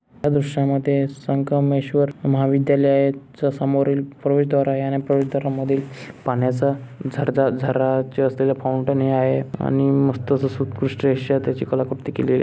या दृश्यामध्ये संगमेश्वर महाविद्यालय च्या समोरील प्रवेशद्वार आहे आणि प्रवेशद्वारामध्ये पाण्याचा झरा झरा असलेला फाऊंटेन हे आहे आणि मस्त अशी सुकृष्टरीत्या कलाकृती केलीय.